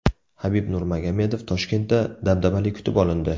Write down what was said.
Habib Nurmagomedov Toshkentda dabdabali kutib olindi.